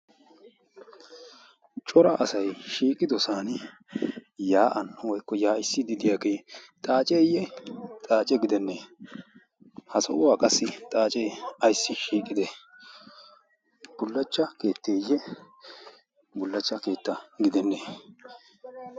cora asay shiiqidosan yaa'an yaa'issiyage xaaceeye? xaace gedene? qassi xaacee ayssi shiiqide? bulacha keetteye bulacha keetta gidene?